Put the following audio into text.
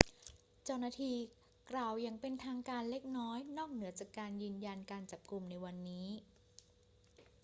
เจ้าหน้าที่กล่าวอย่างเป็นทางการเล็กน้อยนอกเหนือจากยืนยันการจับกุมในวันนี้